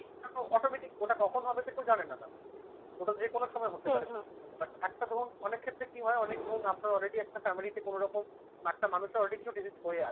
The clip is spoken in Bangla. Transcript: automatic ওটা কখন হবে তো কেউ জানে না mam । ওটা যেকোনো সময় হতে পারে but একটা ধরুন অনেক ক্ষেত্রে কি হয় অনেক ধরুন আপনার already একটা family তে কোনরকম একটা মানুষের already কিছু disease হয়ে আছে।